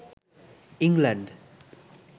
England